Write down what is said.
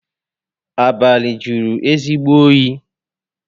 Abalị jụrụ ezigbo oyi